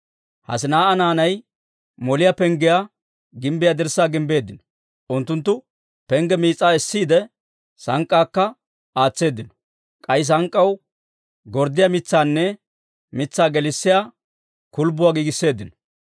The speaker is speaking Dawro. Hassinaa'a naanay Moliyaa Penggiyaa gimbbiyaa dirssaa gimbbeeddino. Unttunttu pengge mitsaa essiide, sank'k'aakka aatseeddino; k'ay sank'k'aw gorddiyaa mitsaanne mitsaa gelissiyaa kulbbuwaa giigisseeddino.